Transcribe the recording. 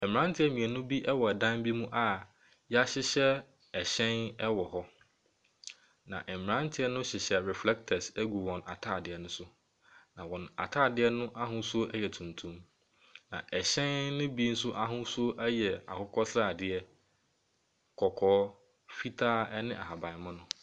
Mmeranteu mmienu bi wɔ dan mu a yɛrehyehyɛ hyɛn wɔ hɔ. Na mmerante no hyehyɛ reflectors wɔ wɔn ataadeɛ ne so. Na wɔn ataadeɛ no ahosuo yɛ tun tuntum. Na hyɛn ne bi nso ahosuo yɛ akokɔsradeɛ, kɔkɔɔ, fitaa ne ahabanmono.